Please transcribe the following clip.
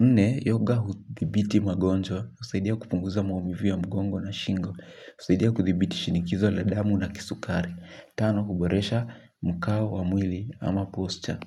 Nne, yoga huthibiti magonjwa. Husaidia kupunguza maumivu ya mgongo na shingo. Usaidia kuthibiti shinikizo la damu na kisukari. Tano, huboresha mkao wa mwili ama posture.